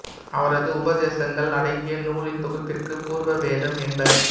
அவரது உபதேசங்கள் அடங்கிய நூலின் தொகுப்பிற்கு பூர்வ வேதம் என்பர்